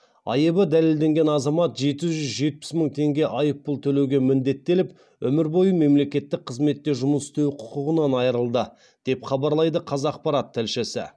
айыбы дәлелденген азамат жеті жүз жетпіс мың теңге айыппұл төлеуге міндеттеліп өмір бойы мемлекеттік қызметте жұмыс істеу құқығынан айырылды деп хабарлайды қазақпарат тілшісі